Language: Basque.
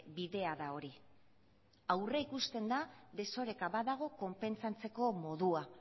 bidea da hori aurrikusten da desoreka badago konpentsatzeko modua